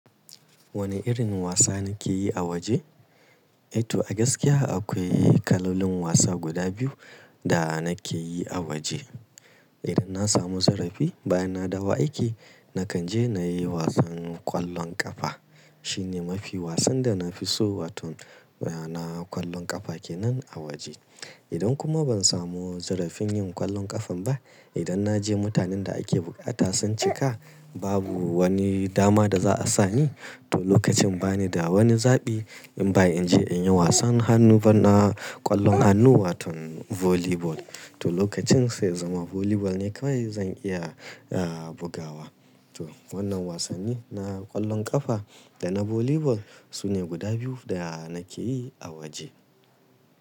Wani irin wasa nake yi a waje? To a gaskiya akwai kalolin wasa guda biyu da nake yi a waje. Idan na samu zarafi bayan na dawo aiki nakan je na yi wasan ƙwallon ƙafa. Shine mafi wasan da na fi so wato a na ƙwallon ƙafa kenan a waje. Idan kuma ban samu zarafin yin ƙwallon ƙafan ba, idan na je mutanen da ake buƙata sun cika babu wani dama da za a sani, to lokacin bani da wani zaɓi in ba in je in yi wasan hannu bana ƙwallon hannu wato volleyball. To lokacin sai zama volleyball ne kawai zan iya, ah, bugawa. To wannan wasanni na ƙwallon ƙafa da na volleyball sune guda biyu da nake yi a waje.